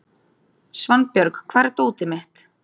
Svanbjörg, hvar er dótið mitt?